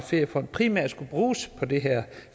feriefond primært bruges på det her